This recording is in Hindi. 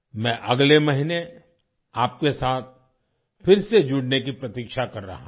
मैं अगले महीने आपके साथ फिर से जुडने की प्रतीक्षा कर रहा हूँ